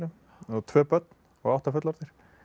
tvö börn og átta fullorðnir